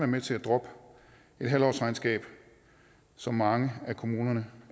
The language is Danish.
med til at droppe et halvårsregnskab som mange af kommunerne